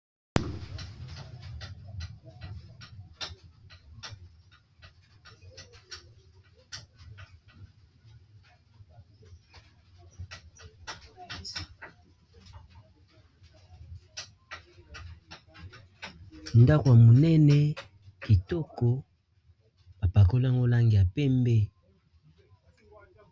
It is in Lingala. Ndako ya monene kitoko bapakoliango langi ya pembe.